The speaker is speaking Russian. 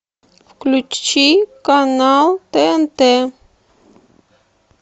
включи канал тнт